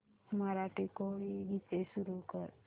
मराठी कोळी गीते सुरू कर